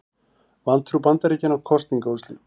Vantrú Bandaríkjanna á kosningaúrslit